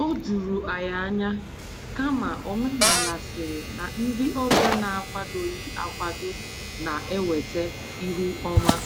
O juru anyị ányá, kama omenala sịrị na ndị ọbịa n'akwadoghị akwado na- eweta ihu ọma.